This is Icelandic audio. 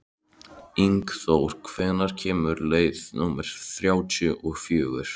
Ingþór, hvenær kemur leið númer þrjátíu og fjögur?